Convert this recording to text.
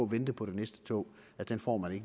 vente på det næste tog får man